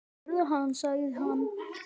Þarna sérðu, sagði hann.